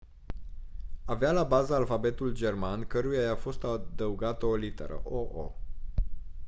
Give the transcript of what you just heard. avea la bază alfabetul german căruia i-a fost adăugată o literă «õ/õ».